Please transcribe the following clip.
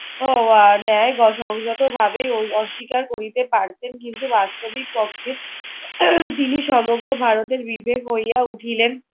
উহ আহ নেয়। সংযতভাবে অস্বীকার করিতে পারতেন। কিন্তু বাস্তবিক পক্ষে তিনি সমগ্র ভারতের বিবেক হইয়া উঠিলেন।